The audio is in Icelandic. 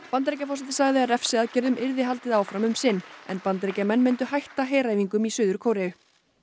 Bandaríkjaforseti sagði að refsiaðgerðum yrði haldið áfram um sinn en Bandaríkjamenn myndu hætta heræfingum í Suður Kóreu